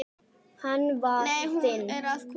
Nei, hún er að koma.